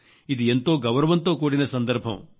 ఇది ఎంతో గౌరవంతో కూడిన సందర్భం